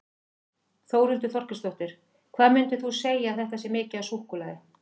Þórhildur Þorkelsdóttir: Hvað myndir þú segja að þetta sé mikið af súkkulaði?